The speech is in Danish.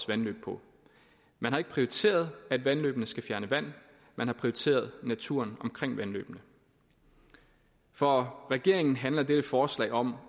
vandløb på man har ikke prioriteret at vandløbene skal fjerne vand man har prioriteret naturen omkring vandløbene for regeringen handler dette forslag om